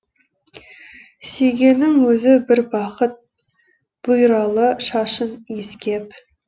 сүйгеннің өзі бір бақыт бұйралы шашын иіскеп